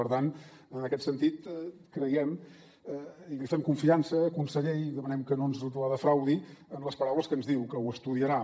per tant en aquest sentit creiem i li fem confiança conseller i demanem que no ens la defraudi en les paraules que ens diu que ho estudiarà